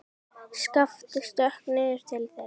Skapti stökk niður til þeirra.